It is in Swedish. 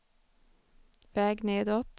väg nedåt